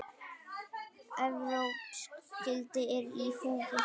Evrópsk gildi eru í húfi.